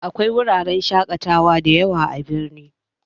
Akwai wuraren shaƙatawa da yawa a birni